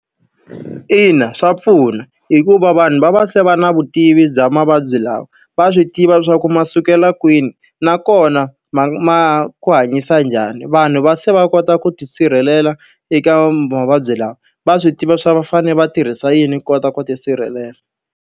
Ina swa pfuna hikuva vanhu va va se va na vutivi bya mavabyi lawa, va swi tiva leswaku ma sukela kwini nakona ma ma ku hanyisa njhani. Vanhu va se va kota ku tisirhelela eka mavabyi lawa, va swi tiva swa va fanele va tirhisa yini ku kota ku ti sirhelela.